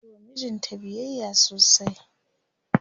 tayiwa mijinta biyayya sosai